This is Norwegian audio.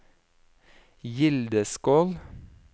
Gildeskål